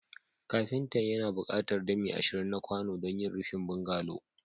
Kafinta yana buƙatar dami ashirin na kwano don yin rufin bungalow